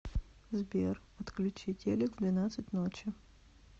сбер отключи телек в двенадцать ночи